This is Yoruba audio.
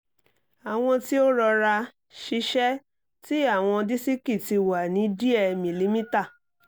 awọn ti o rọra-ṣiṣe ti awọn disiki ti wa ni diẹ milimita